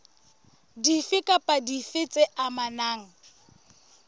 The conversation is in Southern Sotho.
dife kapa dife tse amanang